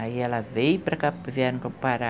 Aí ela veio para cá, vieram para o Pará,